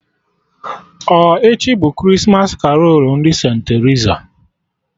Ọ echi bụ Krismas karolu ndị St.Terisa?